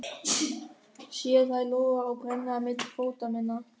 Sé þær loga og brenna milli fóta minna.